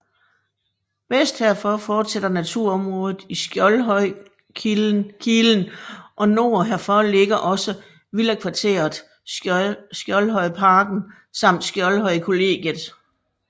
Vest herfor fortsætter naturområdet i Skjoldhøjkilen og nord herfor ligger også villakvarteret Skjoldhøjparken samt Skjoldhøjkollegiet